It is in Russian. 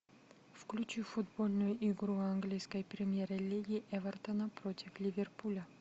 включи футбольную игру английской премьер лиги эвертона против ливерпуля